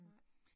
Nej